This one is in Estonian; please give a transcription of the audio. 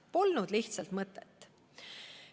Polnud lihtsalt mõtet.